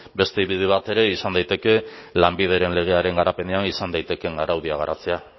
beste bide bat ere izan daiteke lanbideren legearen garapenean izan daitekeela araudia garatzea